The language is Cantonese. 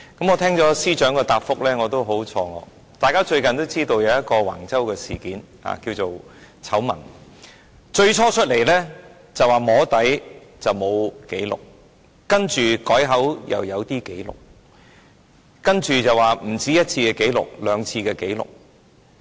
我聽到司長的答覆也感到很錯愕，大家也知道最近有橫州事件或醜聞，政府最初說是"摸底"，沒有紀錄，接着改口說有一些紀錄，然後又說不止1次的紀錄，而是有兩次的紀錄。